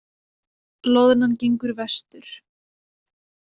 Loðnan gengur vestur